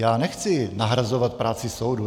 Já nechci nahrazovat práci soudu.